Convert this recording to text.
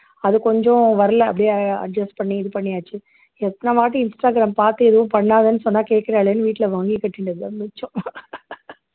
அது கொஞ்சம் வரல அப்படியே adjust பண்ணி இது பண்ணியாச்சு எத்தனை வாட்டி instagram பாத்து எதுவும் பண்ணாதன்னு சொன்னா வீட்டுல வாங்கி கட்டிண்டது தான் மிச்சம்